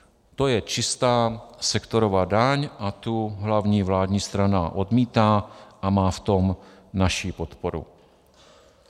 To je čistá sektorová daň a tu hlavní vládní strana odmítá a má v tom naši podporu.